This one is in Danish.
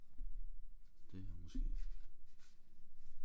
Det her måske